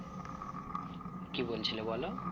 কি বলছিলে বলো